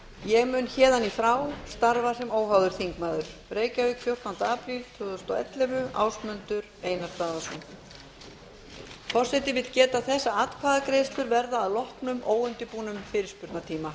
ég mun héðan í frá starfa sem óháður þingmaður reykjavík fjórtánda apríl tvö þúsund og ellefu ásmundur einar daðason